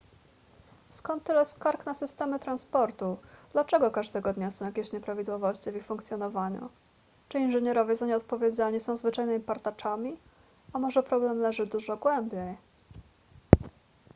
skąd tyle skarg na systemy transportu dlaczego każdego dnia są jakieś nieprawidłowości w ich funkcjonowaniu czy inżynierowie za nie odpowiedzialni są zwyczajnymi partaczami a może problem leży dużo głębiej